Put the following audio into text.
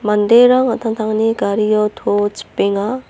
manderang an·tangtangni gario to chipenga.